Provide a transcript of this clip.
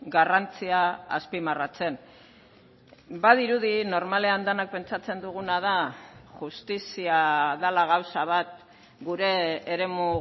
garrantzia azpimarratzen badirudi normalean denak pentsatzen duguna da justizia dela gauza bat gure eremu